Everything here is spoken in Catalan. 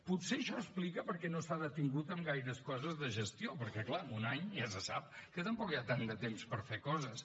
potser això explica per què no s’ha detingut en gaires coses de gestió perquè clar en un any ja se sap que tampoc hi ha tant de temps per fer coses